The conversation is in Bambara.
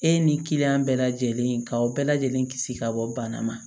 E ni kiliyan bɛɛ lajɛlen ka o bɛɛ lajɛlen kisi ka bɔ bana ma